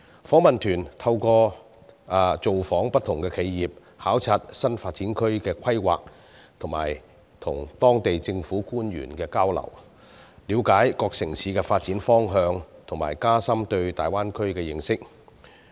訪問團透過造訪不同企業、考察新發展區的規劃及與當地政府官員交流，了解各城市的發展方向和加深對大灣區的認識。